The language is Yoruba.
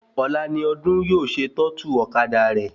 Ọ̀la ni Ọdún yóò ṣe tọ́tù ọ̀kadà rẹ̀